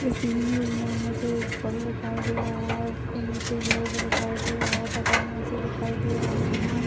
इस इमेज में मुझे पुल दिखाई दे रहा है और उसके नीचे रोड दिखाई दे रहा है दिखाई दे रहे हैं।